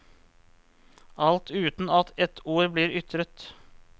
Alt uten at et ord blir ytret.